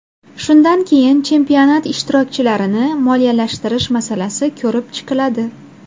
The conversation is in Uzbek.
Shundan keyin chempionat ishtirokchilarini moliyalashtirish masalasi ko‘rib chiqiladi.